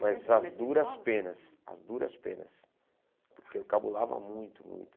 Mas as duras penas, as duras penas, porque eu cabulava muito, muito.